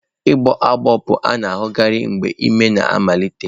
Ịgbọ agbọ bụ a na-ahụkarị mgbe ime na amalite.